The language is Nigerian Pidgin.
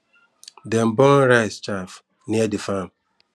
dem burn rice chaff near the farm